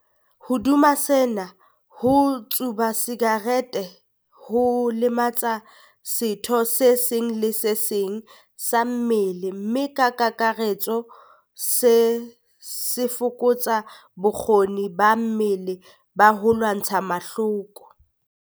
Hodima sena, ho tsuba sakerete ho lematsa setho se seng le se seng sa mmele mme ka kakaretso se fokotsa bokgoni ba mmele ba ho lwantsha mahloko.